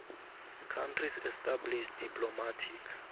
countries established diplomatic